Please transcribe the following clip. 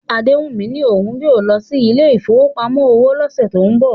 Adewummi ní òun yóò lọ sí ilé ìfowópamọ́ òwò lọ́sẹ̀ tó ń bọ̀